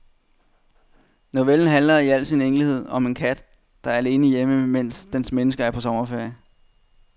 Novellen handler i al enkelhed om en kat, der er alene hjemme, medens dens mennesker er på sommerferie.